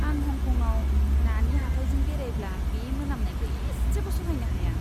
आं हंकंआव नानि हाथाइजों बेरायब्ला बे मोनामनायखौ एसेबो सहायनो हाया।